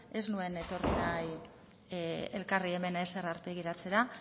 ez nuen etorri nahi elkarri hemen ezer aurpegiratzera